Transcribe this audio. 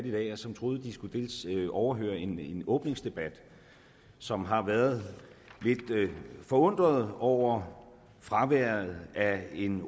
i dag og som troede de skulle overvære en åbningsdebat som har været lidt forundrede over fraværet af en